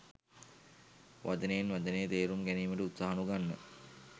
වචනයෙන් වචනය තේරුම් ගැනීමට උත්සාහ නොගන්න.